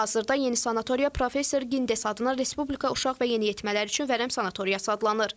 Hazırda yeni sanatoriya professor Gindes adına Respublika Uşaq və Yeniyetmələr üçün Vərəm Sanatoriyası adlanır.